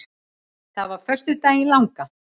Það var á föstudaginn langa.